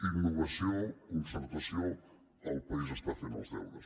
innovació concertació el país està fent els deures